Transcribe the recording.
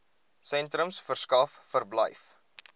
sentrums verskaf verblyf